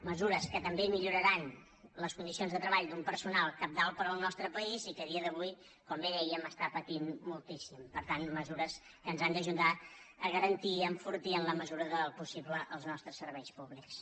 mesures que també milloraran les condicions de treball d’un personal cabdal per al nostre país i que a dia d’avui com bé dèiem està patint moltíssim per tant mesures que ens han d’ajudar a garantir i a enfortir en la mesura del possible els nostres serveis públics